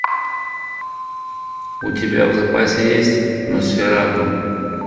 у тебя в запасе есть носферату